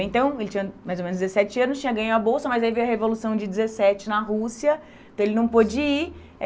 Então ele tinha mais ou menos dezessete anos, tinha ganho a bolsa, mas aí veio a Revolução de dezessete na Rússia, então ele não pôde ir.